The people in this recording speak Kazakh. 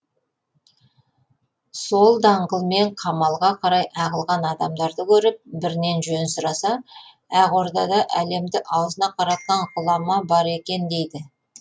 сол даңғылмен қамалға қарай ағылған адамдарды көріп бірінен жөн сұраса ақ ордада әлемді аузына қаратқан ғұлама бар екен дейді